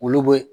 Olu be